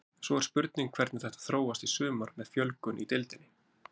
Svo er spurning hvernig þetta þróast í sumar með fjölgun í deildinni.